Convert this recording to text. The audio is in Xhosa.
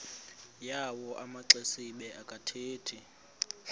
yawo amaxesibe akathethi